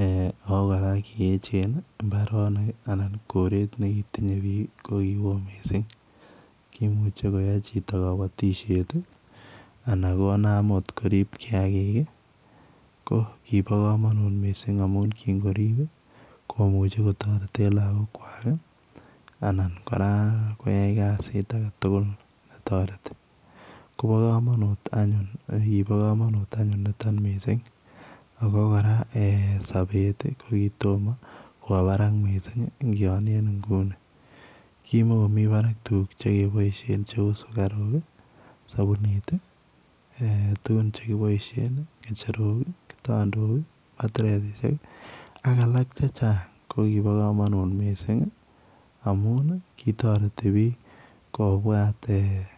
eeh ako kora kieechen mbaronik anan koreet nekitinyei biik ko kiwooh missing kimuchei koyai chitoo kabatisyeet ii anan konam akoot koriib kiagik ii ko kiboo kamanut missing amuun kiin koriip ii komuchei kotareteen lagook kwaak ii anan kora koyai kaziit age tugul ne taretii kobaa kamanut kokiboo kamanut anyuun nitoon missing ako kora sabeet ko kotomah kowaa Barak missing ngianien nguni, kimakomii Barak tuguuk che kebaisheen che uu sugariuk, ii , sabunit ii ,tuguun chekibaisheen, kitandeet ii ngecherook ii, ak alaak che chaang ko kiboo kamanut missing amuun ii kotaretii biik kobwaat eeh.